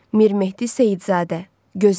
Mir Mehdi Seyidzadə.